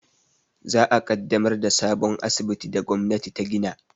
Za a ƙaddamar da sabon asibitin da gwamnati ta gina